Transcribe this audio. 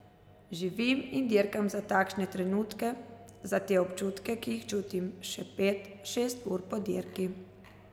Živim in dirkam za takšne trenutke, za te občutke, ki jih čutim še pet, šest ur po dirki.